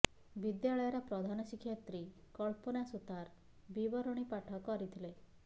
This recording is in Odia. ବିଦ୍ୟାଳୟର ପ୍ରଧାନ ଶିକ୍ଷୟିତ୍ରୀ କଳ୍ପନା ସୂତାର ବିବରଣୀ ପାଠ କରିଥିଲେ